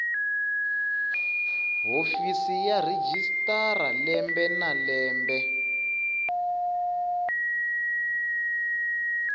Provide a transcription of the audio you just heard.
hofisi ya registrar lembe na